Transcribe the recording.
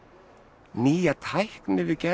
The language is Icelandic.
nýja tækni við gerð